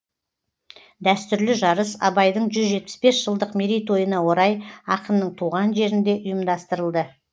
дәстүрлі жарыс абайдың жүз жетпіс бес жылдық мерейтойына орай ақынның туған жерінде ұйымдастырылды